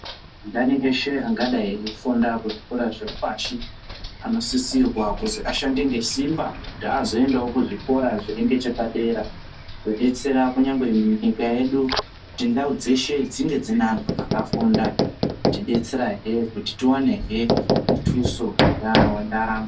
Ndani eshe angadai eifunda kuzvikora zviri pashi anosisirwa kuzi ashande ngesimba kuti azoendawo kuzvikora zviri ngechepadera. Zvodetsera kunyangwe kunyika yedu kuti ndau dzeshe dzinge dziine anhu akafunda. Kutidetserahe kuti tiwanehe mutuso wendaramo.